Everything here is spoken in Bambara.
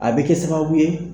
A bɛ kɛ sababu ye.